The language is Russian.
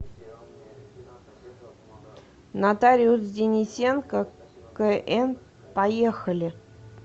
нотариус денисенко кн поехали